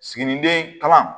Siginiden kalan